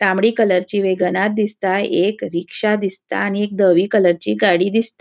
तांबडी कलरची वेगनार दिसता. एक रिक्शा दिसता आणि एक धवी कलरची गाड़ी दिस --